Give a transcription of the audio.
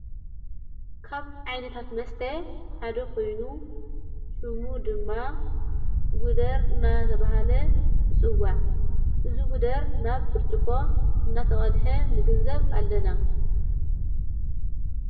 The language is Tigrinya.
ካብ ኣይነታት መስተ ሓደ ኾይኑ ሹሙ ድማ ጕደር እና ተብሃለ ይጽዋዕ እዝ ጕደር ናብ ብርጭቆ እናተቐድሐ ምግንዘብ ኣለና።